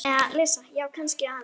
Já, kannski aðeins.